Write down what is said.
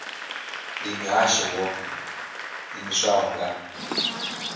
ndi muhasho wo ḓiimisaho nga